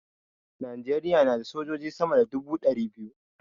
Najeriya na da sojoji sama da dubu ɗari biyu